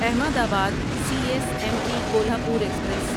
احمد آباد C S M T Kolhapur express